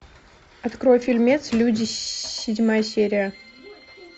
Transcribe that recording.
открой фильмец люди седьмая серия